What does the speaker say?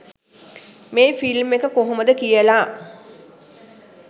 මේ ෆිල්ම් එක කොහොමද කියලා.